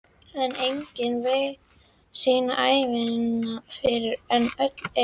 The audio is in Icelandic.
En enginn veit sína ævina fyrr en öll er.